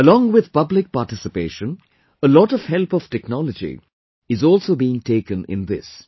Along with public participation, a lot of help of technology is also being taken in this